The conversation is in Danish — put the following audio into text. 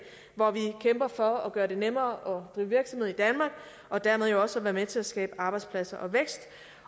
hvor vi kæmper for at gøre det nemmere drive virksomhed i danmark og dermed også at være med til at skabe arbejdspladser